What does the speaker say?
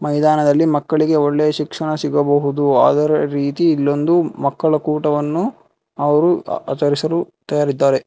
ಮೈದಾನದಲ್ಲಿ ಮಕ್ಕಳಿಗೆ ಒಳ್ಳೆಯ ಶಿಕ್ಷಣ ಸಿಗಬಹುದು ಅದರ ರೀತಿ ಇಲ್ಲೊಂದು ಮಕ್ಕಳ ಕೂಟವನ್ನು ಅವರು ಆಚರಿಸಲು ತಯಾರಿದ್ದಾರೆ.